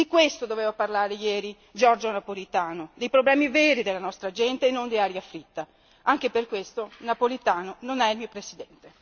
Di questo doveva parlare ieri Giorgio Napolitano, dei problemi veri della nostra gente e non di aria fritta. Anche per questo, Napolitano non è il mio Presidente.